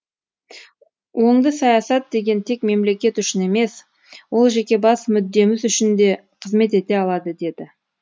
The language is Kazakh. оңды саясат деген тек мемлекет үшін емес ол жеке бас мүддеміз үшін де қызмет ете алады деді